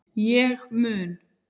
Ég mun